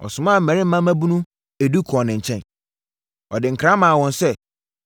ɔsomaa mmarima mmabunu edu kɔɔ ne nkyɛn. Ɔde nkra maa wɔn sɛ,